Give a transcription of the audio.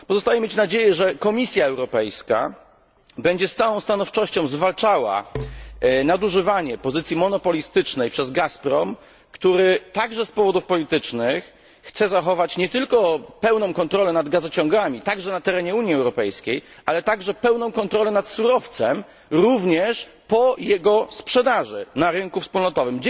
Pozostaje mieć nadzieję, że Komisja Europejska będzie z całą stanowczością zwalczała nadużywanie pozycji monopolistycznej przez Gazprom, który także z powodów politycznych chce zachować nie tylko pełną kontrolę nad gazociągami, również na terenie Unii Europejskiej, ale także pełną kontrolę nad surowcem, również po jego sprzedaży na rynku wspólnotowym.